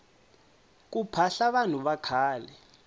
ku phahla vanhu vakhale